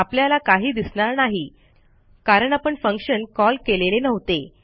आपल्याला काही दिसणार नाही कारण आपण फंक्शन कॉल केलेले नव्हते